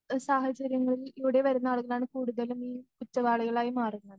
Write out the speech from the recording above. ങ് സാഹചര്യങ്ങളിൽ ലൂടെ വരുന്ന ആളുകളാണ് കൂടുതലും കുറ്റവാളികളായി മാറുന്നത്.